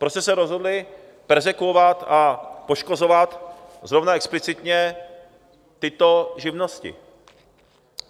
Proč jste se rozhodli perzekvovat a poškozovat zrovna explicitně tyto živnosti?